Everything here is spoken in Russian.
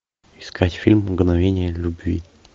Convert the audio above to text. искать фильм мгновение любви